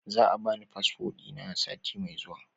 Za a bani fasfo dina sati mai zuwa